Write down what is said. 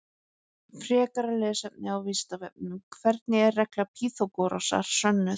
Frekara lesefni á Vísindavefnum: Hvernig er regla Pýþagórasar sönnuð?